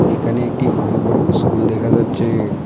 এখানে একটি অনেক বড়ো ইস্কুল দেখা যাচ্ছে।